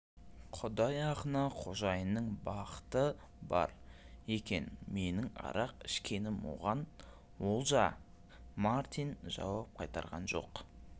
құдай ақына қожайынның бақыты бар екен менің арақ ішкенім оған олжамартин жауап қайтарған жоқ